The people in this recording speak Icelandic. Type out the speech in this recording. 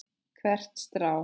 Hvert strá.